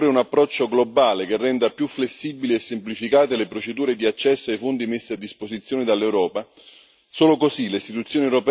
Ma occorre anche fare di più, cioè un approccio globale che renda più flessibili e semplificate le procedure di accesso ai fondi messi a disposizione dall'Europa.